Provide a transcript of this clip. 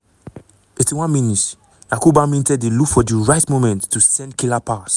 81 mins - yankuba minteh dey look for di right moment to send killer pass.